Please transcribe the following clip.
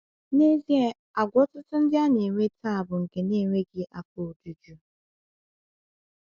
N'ezie, àgwà ọtụtụ ndị na-enwe taa bụ nke enweghị afọ ojuju.